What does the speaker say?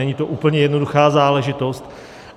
Není to úplně jednoduchá záležitost.